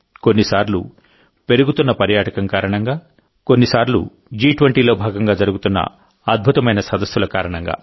కొన్నిసార్లు పెరుగుతున్న పర్యాటకం కారణంగా కొన్నిసార్లు జీ20లో భాగంగా జరుగుతున్న అద్భుతమైన సదస్సుల కారణంగా